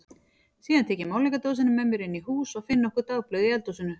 Síðan tek ég málningardósina með mér inn í hús og finn nokkur dagblöð í eldhúsinu.